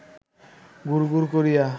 গুড় গুড় করিয়া